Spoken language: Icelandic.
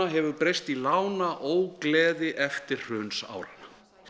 hefur breyst í eftirhrunsáranna